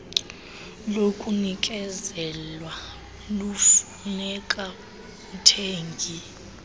lokunikezelwa lufuneka umthengi